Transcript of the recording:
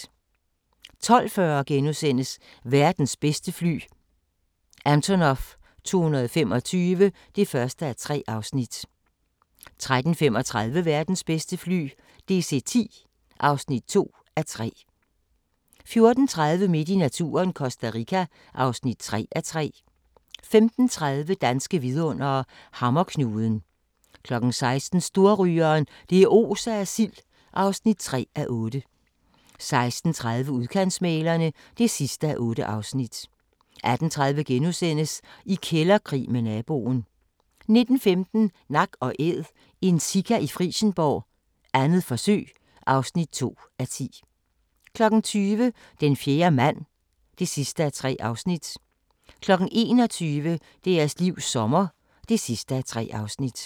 12:40: Verdens bedste fly – Antonov 225 (1:3)* 13:35: Verdens bedste fly – DC-10 (2:3) 14:30: Midt i naturen – Costa Rica (3:3) 15:30: Danske vidundere: Hammerknuden 16:00: Storrygeren – det oser af sild (3:8) 16:30: Udkantsmæglerne (8:8) 18:30: I kælderkrig med naboen * 19:15: Nak & Æd – en sika i Frijsenborg, 2. forsøg (2:10) 20:00: Den fjerde mand (3:3) 21:00: Deres livs sommer (3:3)